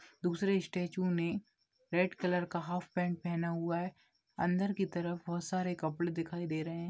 दूसरे स्टेचू ने red colour का हाफ पैंट पहना हुआ है अंदर की तरफ बहोत सारे कपड़े दिखाई दे रहे हैं।